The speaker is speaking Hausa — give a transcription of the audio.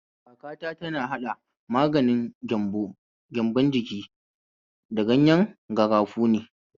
Kakata tana haɗa maganin gyambon ciki da ganyen garafuni.